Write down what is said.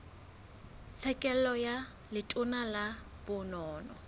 tlhekelo ka letona la bonono